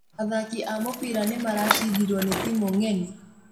Athaki a mũbira nĩ maracindirwo nĩ timu ng'eni